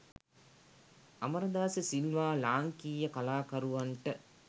අමරදාස සිල්වා ලාංකීය කලාකරුවන්ට